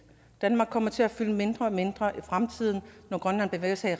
danmark kommer til at fylde mindre og mindre i fremtiden når grønland bevæger sig